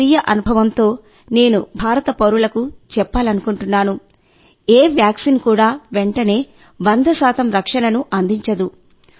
నా స్వీయ అనుభవంతో నేను భారత పౌరులకు చెప్పాలనుకుంటున్నాను ఏ వ్యాక్సిన్ కూడా వెంటనే 100 రక్షణను అందించదు